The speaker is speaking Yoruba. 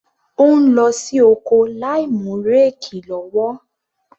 Ó ń lọ sí oko láìmú réèkì lọ́wọ́.